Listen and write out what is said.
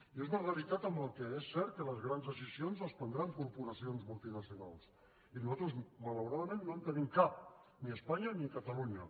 i és una realitat en la qual és cert que les grans decisions les prendran corporacions multinacionals i nosaltres malauradament no en tenim cap ni espanya ni catalunya